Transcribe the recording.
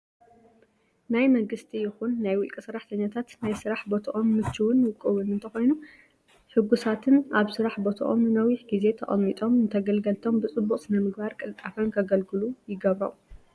ናይ መንግስቲ ይኹን ናይ ውልቀ ሰራሕተኛታት ናይ ስራሕ በትኦም ምችውን ውቁብን እንተኾይኑ ሕጉሳትን ኣብ ስራሕ ቦትኦም ንነዊሕ ግዜ ተቀምጦም ንተገልገልቶም ብፅቡቅ ስነ ምግባርን ቅልጣፈን ንከገልግሉ ይገብሮም።